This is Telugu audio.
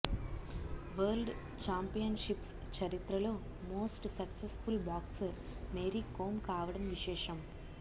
వరల్డ్ చాంపియన్షిప్స్ చరిత్రలో most successful boxer Mary Kom కావడం విశేషం